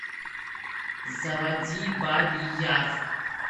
заводи бабий яр